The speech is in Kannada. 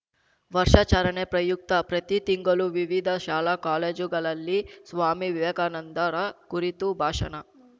ವರ್ಷಾಚರಣೆ ಪ್ರಯುಕ್ತ ಪ್ರತಿ ತಿಂಗಳು ವಿವಿಧ ಶಾಲಾಕಾಲೇಜುಗಳಲ್ಲಿ ಸ್ವಾಮಿ ವಿವೇಕಾನಂದರ ಕುರಿತು ಭಾಷಣ